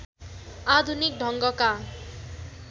आधुनिक ढङ्गका